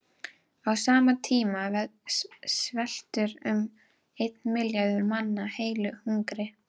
Á sama tíma sveltur um einn milljarður manna heilu hungri.